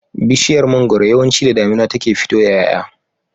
Bishiyar mangwaro yawanci da damina take fito da y'ay'a